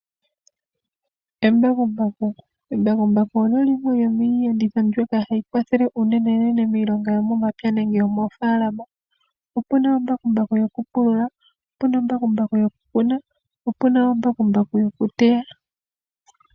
Embakumbaku, embakumbaku olyo limwe yomiiyenditho mbyoka hayi kwathele unenenene miilonga yomomapya nenge yo moofaalama. Opuna ombakumbaku yoku pulula, opuna ombakumbaku yoku kuna, opuna wo ombakumbaku yoku teya.